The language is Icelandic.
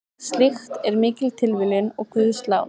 Slíkt er mikil tilviljun og guðslán.